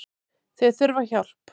Þau þurfa hjálp